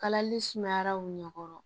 Kalali sumayara u ɲɛ kɔrɔ